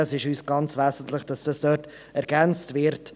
Diese Ergänzung ist für uns wesentlich.